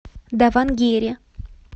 давангере